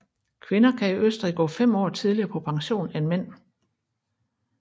Kvinder kan i Østrig gå fem år tidligere på pension end mænd